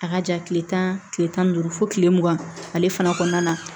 A ka jan kile tan kile tan ni duuru fo kile mugan ale fana kɔnɔna na